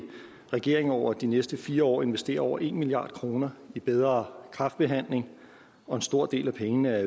regeringen over de næste fire år investere over en milliard kroner i bedre kræftbehandling og en stor del af pengene